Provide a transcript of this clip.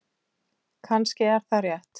Kannski er það rétt.